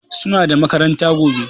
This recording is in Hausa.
Suna da makaranta gobe